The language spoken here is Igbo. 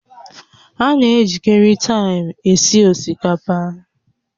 A na-ejikarị taịm esi osikapa